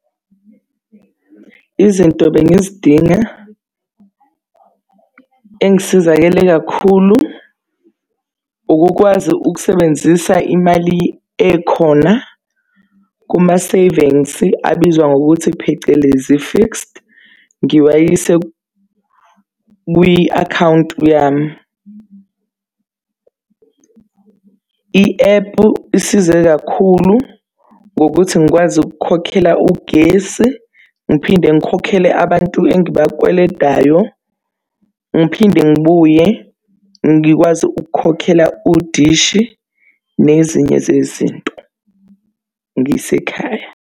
Izinto bengizidinga engisizakele kakhulu. Ukukwazi ukusebenzisa imali ekhona kuma-savings abizwa ngokuthi phecelezi i-fixed ngiwayise kwi-akhawunti yami. I-epu isize kakhulu ngokuthi ngikwazi ukukhokhela ugesi, ngiphinde ngikhokhele abantu engibakweledayo. Ngiphinde ngibuye ngikwazi ukukhokhela udishi nezinye zezinto ngisekhaya.